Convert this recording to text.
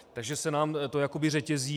Takže se nám to jakoby řetězí.